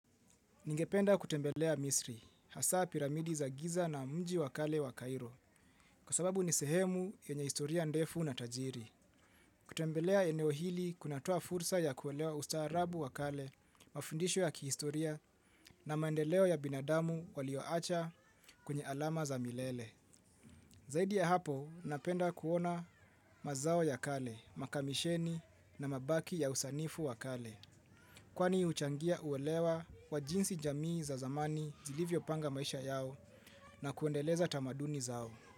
Ningependa kutembelea Misri, hasa piramidi za giza na mji wakale wa Cairo, kwa sababu ni sehemu yenye historia ndefu na tajiri. Kutembelea eneo hili kunatoa fursa ya kuelewa ustaarabu wa kale, mafundisho ya kihistoria na maendeleo ya binadamu walioacha kwenye alama za milele. Zaidi ya hapo, napenda kuona mazao ya kale, makamisheni na mabaki ya usanifu wakale. Kwani huchangia uelewa wa jinsi jamii za zamani zilivyo panga maisha yao na kuendeleza tamaduni zao.